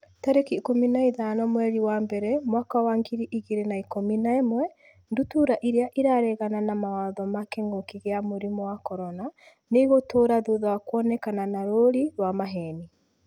tarĩki ikũmi na ithano mweri wa mbere mwaka wa ngiri igĩrĩ na ikũmi na ĩmwe Ndutura irĩa 'ĩraregana na mawatho ma kĩngũki kia mũrimũ wa CORONA nĩ ĩgũtũra thutha wa kuonekana na rũũri rwa maheeni.